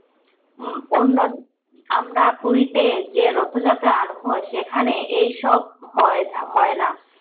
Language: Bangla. উম অন্য আমরা পুরীতে যে রথযাত্রা আরম্ভ হয় সেইখানে এইসব হয় থ হয়না।